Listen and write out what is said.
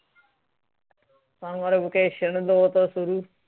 summer vacation ਦੋ ਤੋਂ ਸ਼ੁਰੂ